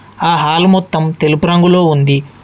ఆ హాల్ మొత్తం తెలుపు రంగులో ఉంది.